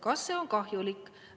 Kas see on kahjulik?